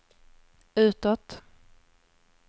utåt